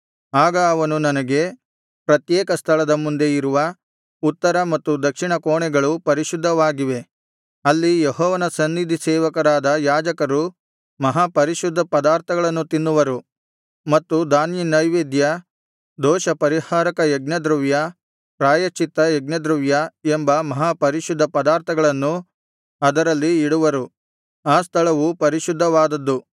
ಆಗ ಅವನು ನನಗೆ ಪ್ರತ್ಯೇಕ ಸ್ಥಳದ ಮುಂದೆ ಇರುವ ಉತ್ತರ ಮತ್ತು ದಕ್ಷಿಣ ಕೋಣೆಗಳು ಪರಿಶುದ್ಧವಾಗಿವೆ ಅಲ್ಲಿ ಯೆಹೋವನ ಸನ್ನಿಧಿ ಸೇವಕರಾದ ಯಾಜಕರು ಮಹಾಪರಿಶುದ್ಧ ಪದಾರ್ಥಗಳನ್ನು ತಿನ್ನುವರು ಮತ್ತು ಧಾನ್ಯನೈವೇದ್ಯ ದೋಷಪರಿಹಾರಕ ಯಜ್ಞದ್ರವ್ಯ ಪ್ರಾಯಶ್ಚಿತ್ತ ಯಜ್ಞದ್ರವ್ಯ ಎಂಬ ಮಹಾಪರಿಶುದ್ಧ ಪದಾರ್ಥಗಳನ್ನು ಅದರಲ್ಲಿ ಇಡುವರು ಆ ಸ್ಥಳವು ಪರಿಶುದ್ಧವಾದದ್ದು